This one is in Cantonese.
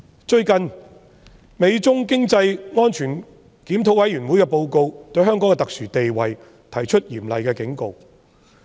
最近，美中經濟與安全審議委員會的報告就香港的特殊地位提出嚴厲警告。